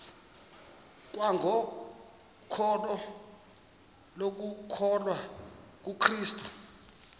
kwangokholo lokukholwa kukrestu